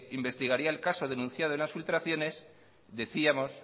investigaría el caso denunciado en las filtraciones decíamos